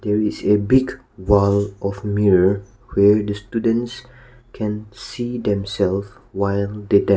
is a big wall of mirror where the students can see themselves while the dance--